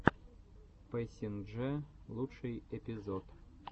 пэсинджэ лучший эпизод